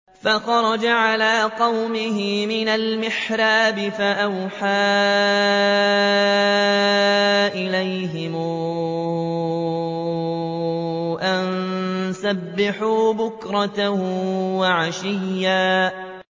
فَخَرَجَ عَلَىٰ قَوْمِهِ مِنَ الْمِحْرَابِ فَأَوْحَىٰ إِلَيْهِمْ أَن سَبِّحُوا بُكْرَةً وَعَشِيًّا